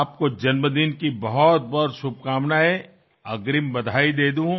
आपको जन्मदिन की बहुतबहुत शुभकामनाएं अग्रिम बधाई दे दूं